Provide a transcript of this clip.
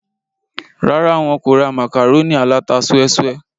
rárá, wọn kò ra màkàrónì aláta súẹ́súẹ́